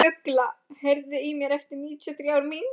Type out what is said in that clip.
Ugla, heyrðu í mér eftir níutíu og þrjár mínútur.